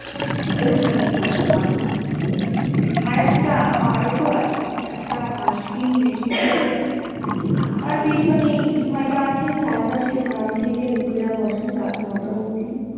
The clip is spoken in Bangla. দুখানা হাল, আরেকটা আরও তো আছে। একটা Haskin machine তার পেছনে ইটভাটা আছে। চারপাশের গ্রাম থেকে লোকেরা বসে রাত নয় টা অবধি।